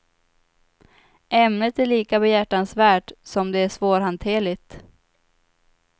Ämnet är lika behjärtansvärt som det är svårhanterligt.